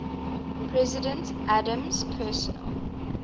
president adams's personal